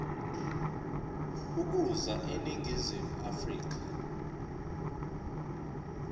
ukuza eningizimu afrika